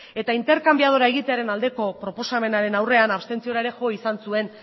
eta interkanbiadorea egitearen aldeko proposamenaren aurrean abstentziora ere jo izan zuen